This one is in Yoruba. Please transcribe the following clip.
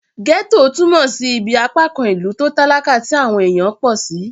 Gẹ́ẹ́tò túnmọ̀ sí ibí apákan ìlú tó talakà tí àwọn èèyàn pọ̀ sí